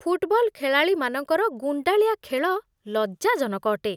Football ଖେଳାଳିମାନଙ୍କର ଗୁଣ୍ଡାଳିଆ ଖେଳ ଲଜ୍ଜାଜନକ ଅଟେ।